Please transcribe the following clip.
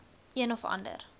een of ander